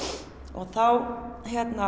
og þá